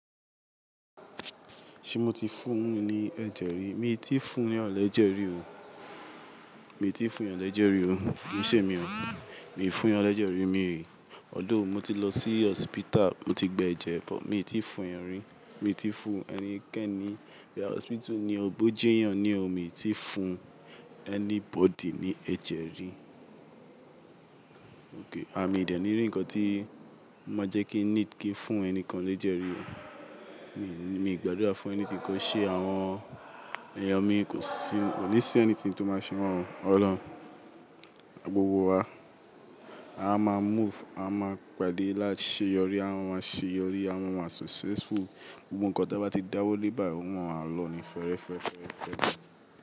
Ṣé mo ti fúni ni ẹ̀jẹ̀ rí? Mi i tí ì fúnyan lẹjẹ̀ rí o. Mi ì tí ì fúnyàn lẹjẹ̀ rí o. Nítemi o, mi ò fún eyàn lẹjẹ̀ rí mi, although mo ti lọ sí hospital, mo ti gbe ẹ̀jẹ̀, but mi ò tí ì fún eyàn rí. Mi ò tí ì fún ẹnikẹ́ni, boya hospital ni, bọ́ jẹ eyàn ni o, mi ò tí ì fún anybody ní ẹ̀jẹ̀ rí. Okay, à mi dẹ̀ ni rí ǹkan tí o máa jẹ́ kí need kí n fún ẹnikàn l'ẹjẹ̀ rí o. Mi, mi i gbàdúrà fún anything kó ṣe àwọn èèyàn mi kò sí, kò ní sí anything tó máa ṣe wọn ọ̀lọun. Gbogbo wa, a máa move, a máa pàdé láti ṣe yọrí, à máa máa ṣe yọrí, à máa máa successful. Gbogbo ǹkan tí a bá ti dáwọ́ lé báyii, ò máa maa lọ ní fẹ́rẹ́féférẹ́fẹ́.